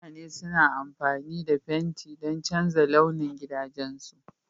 Mutane suna amfani da fenti don canza launin gidajensu